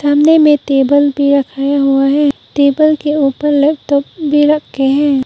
सामने में टेबल भी रखाया हुआ है टेबल के ऊपर लैपटॉप भी रखे हैं।